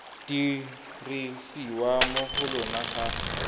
dirisiwa mo go lona ga